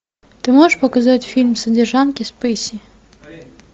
ты можешь показать фильм содержанки спейси